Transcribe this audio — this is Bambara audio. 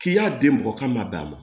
K'i y'a di mɔgɔ k'a ma bɛn a ma